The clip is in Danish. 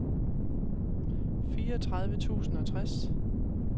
fireogtredive tusind og tres